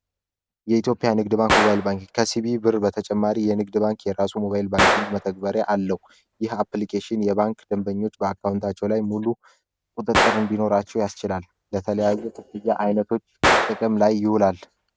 የኢትዮጵያ ንግድ ባንክ ጉባኤ ባንክ ከሲቢ ብር በተጨማሪ የንግድ ባንክ የራሱ ሞባይል ባንኪንግ መተግበርያ አለው የባንክ ደንበኞች በአካውንታቸው ላይ ሙሉ አቸው ያስላል ለተለያዩ ክፍያ አይነቶች ጥቅም ላይ ይውላል